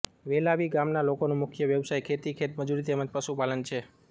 વેલાવી ગામના લોકોના મુખ્ય વ્યવસાય ખેતી ખેતમજૂરી તેમ જ પશુપાલન છે